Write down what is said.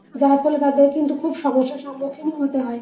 যার ফলে তাদের কিন্তু খুব সমস্যার সম্মুখীন হতে হয়।